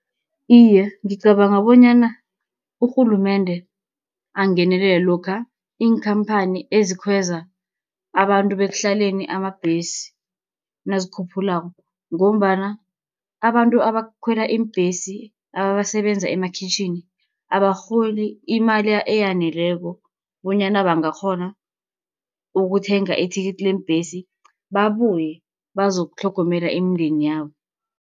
Iye, ngicabanga bonyana urhulumende angenelele, lokha iinkhamphani ezikhweza abantu bekuhlaleni amabhesi, nazikhuphulako, ngombana abantu abakhwela iimbhesi abasebenza emakhitjhini abarholi imali eyaneleko, bonyana bangakghona ukuthenga ithikithi leembhesi, babuye bazokutlhogomela imindeni yabo.